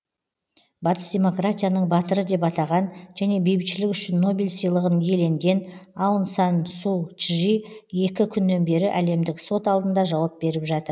батыс демократияның батыры деп атаған және бейбітшілік үшін нобель сыйлығын иеленген аун сан су чжи екі күннен бері әлемдік сот алдында жауап беріп жатыр